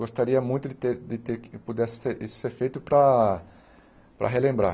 Gostaria muito de ter de ter que pudesse isso ser feito para para relembrar.